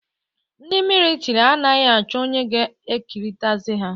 Ndị militri anaghị achọ onye ga-ekritizaiz ha